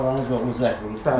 Xalanız oğlu zəng vurmuşdu?